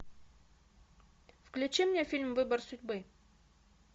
включи мне фильм выбор судьбы